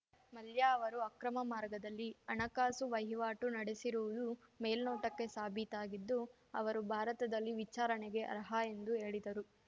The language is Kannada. ಮಲ್ಯ ಅವರು ಅಕ್ರಮ ಮಾರ್ಗದಲ್ಲಿ ಹಣಕಾಸು ವಹಿವಾಟು ನಡೆಸಿರುವುದು ಮೇಲ್ನೋಟಕ್ಕೆ ಸಾಬೀತಾಗಿದ್ದು ಅವರು ಭಾರತದಲ್ಲಿ ವಿಚಾರಣೆಗೆ ಅರ್ಹ ಎಂದು ಹೇಳಿದರು